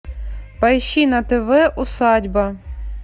поищи на тв усадьба